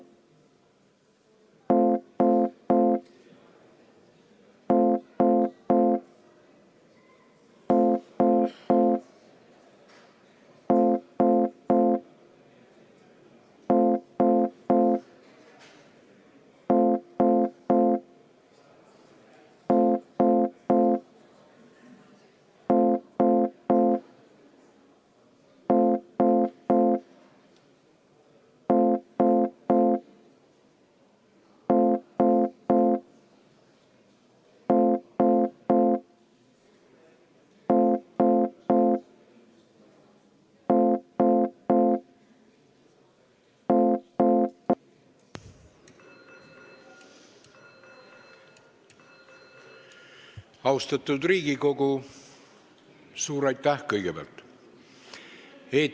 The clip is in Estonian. Austatud Riigikogu, suur aitäh kõigepealt!